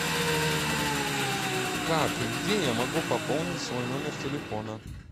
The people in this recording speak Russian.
как и где я могу пополнить свой номер телефона